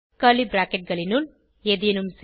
curly bracketகளினுள் ஏதேனும் செய்